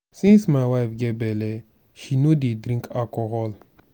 since my wife get bele she no dey drink alcohol